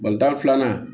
Balontan filanan